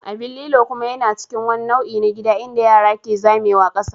Abin lilo kuma yana cikin wani nau'i na gida inda yara ke zamewa ƙasa.